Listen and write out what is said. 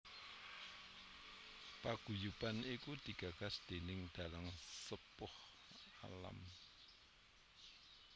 Paguyuban iku digagas déning dalang sepuh alm